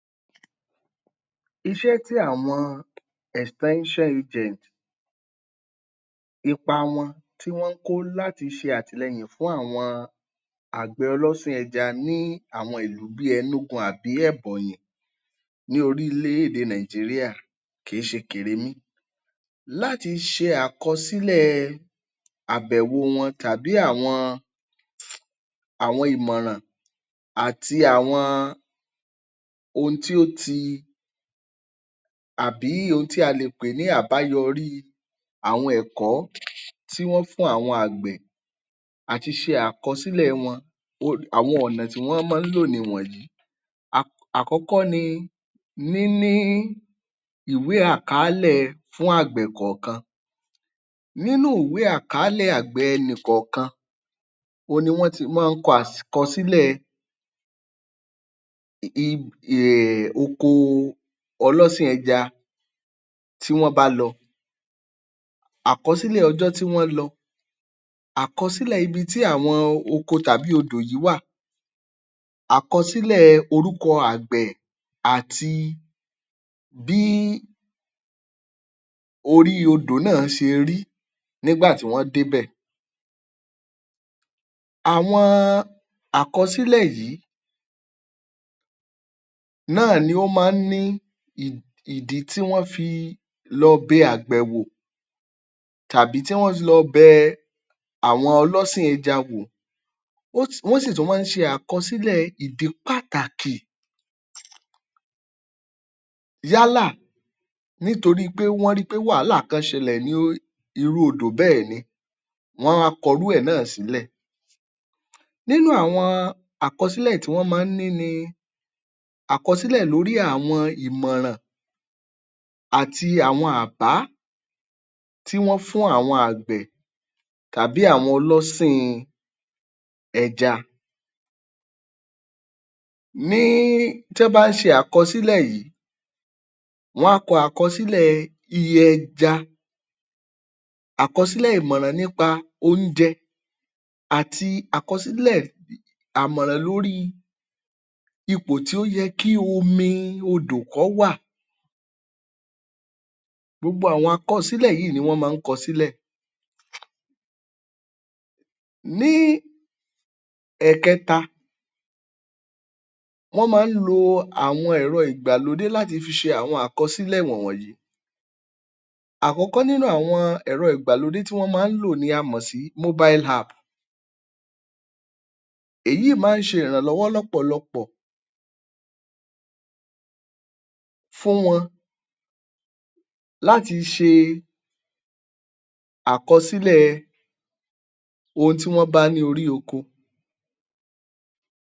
Iṣẹ́ tí àwọn agent ipa wọn tí wọ́n ń kó láti ṣe àtìlẹyìn fún àwọn àgbẹ̀ ọlọ́sìn ẹja ní àwọn ìlú bíi Enugu àbí Ebonyi ní orílẹ̀-èdè Nigeria kì í ṣe kèrémí. Láti ṣe àkọsílẹ̀ ẹ àbẹ̀wò wọn tàbí àwọn ìmọ̀ràn àti àwọn ohun tí ó ti, àbí ohun tí a lè pè ní àbáyọrí àwọn ẹ̀kọ́ tí wọ́n fún àwọn àgbẹ̀ àti ṣe àkọsílẹ̀ wọn um àwọn ọ̀nà tí wọ́n máa ń lò nìwọ̀nyí. Àkọ́kọ́ ni níní ìwé àkaálẹ̀ fún àgbẹ̀ kọ̀ọ̀kan. Nínú ìwé àkaálẹ̀ àgbẹ̀ ẹnìkọ̀ọ̀kan òhun ni wọ́n ti máa ń kọ àkọsílẹ̀ um oko ọlọ́sìn ẹja tí wọ́n bá lọ, àkọsílẹ̀ ọjọ́ tí wọ́n lọ, àkọsílẹ̀ ibi tí àwọn oko tàbí odò yìí wà, àkọsílẹ̀ orúkọ àgbẹ̀, àti bí orí odò náà ṣe rí nígbà tí wọ́n débẹ̀. Àwọn àkọsílẹ̀ yìí náà ni ó máa ń ní ìdí tí wọ́n fi lọ bẹ àgbẹ̀ wò tàbí tí wọ́n i lọ bẹ àwọn ọlọ́sìn ẹja wò. um Wọ́n sì tún máa ń ṣe àkọsílẹ̀ ìdí pàtàkì yálà nítorí pé wọ́n ri pé wàhálà kán ṣẹlẹ̀ ní irú odò bẹ́ẹ̀ ni wọ́n á wá kọrú ẹ̀ náà sílẹ̀. Nínú àwọn àkọsílẹ̀ tí wọ́n máa ń ní ni àkọsílẹ̀ lórí àwọn ìmọ̀nràn àti àwọn àbá tí wọ́n fún àwọn àgbẹ̀ tàbí àwọn ọlọ́sìn ẹja. Ní tọ́n bá ṣe àkọsílẹ̀ yìí, wọ́n á kọ àkọsílẹ̀ iye ẹja, àkọsílẹ̀ ìmọ̀nràn nípa oúnjẹ àti àkọsílẹ̀ àmọ̀nràn lórí ipò tí ó yẹ kí omi odò kọ́ wà. Gbogbo àwọn àkọsílẹ̀ yíì ni wọ́n máa ń kọ sílẹ̀. Ní ẹ̀kẹta, wọ́n máa ń lo àwọn ẹ̀rọ ìgbàlódé láti fi ṣe àwọn àkọsílẹ̀ wọ̀n wọ̀nyí. Àkọ́kọ́ nínú àwọn ẹ̀rọ ìgbàlódé tí wọ́n máa ń lò ni a mọ̀ sí mobile app. Èyíì máa ń ṣe ìrànlọ́wọ́ lọ́pọ̀lọpọ̀ fún wọn láti ṣe àkọsílẹ̀ ohun tí wọ́n bá ní orí oko.